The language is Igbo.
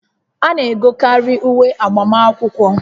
A na-egokarị uwe agbamakwụkwọ